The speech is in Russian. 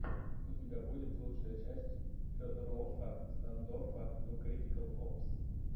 у тебя будет лучшая часть федорофффа стандоффа ту критикал опс